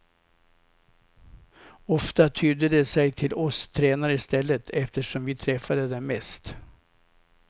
Ofta tydde de sig till oss tränare i stället, eftersom vi träffade dem mest.